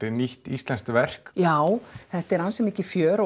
er nýtt íslenskt verk já þetta er ansi mikið fjör